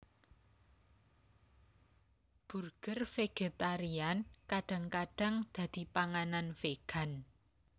Burger vegetarian kadang kadang dadi panganan vegan